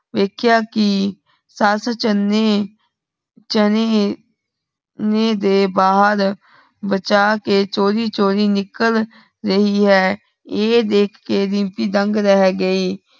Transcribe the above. ਵੇਖਿਆ ਕੀ ਸੱਸ ਚੇਲਣੇ ਚਣੇ ਨੇ ਦੇ ਬਾਹਰ ਬਚਾ ਕੇ ਚੋਰੀ ਚੋਰੀ ਨਿਕਲ ਰਹੀ ਹੈ। ਐ ਦੇਖ ਕੇ ਰੀਮਪੀ ਦੰਗ ਰੇਹ ਗਈ।